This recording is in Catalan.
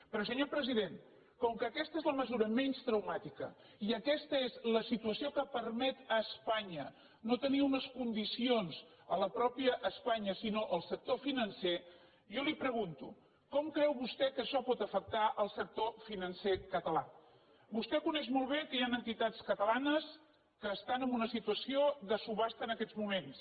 però senyor president com que aquesta és la mesura menys traumàtica i aques·ta és la situació que permet a espanya no tenir unes condicions a la mateixa espanya sinó al sector finan·cer jo li pregunto com creu vostè que això pot afec·tar el sector financer català vostè coneix molt bé que hi han entitats catalanes que estan en una situació de subhasta en aquests moments